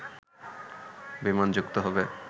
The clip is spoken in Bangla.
বিমান যুক্ত হবে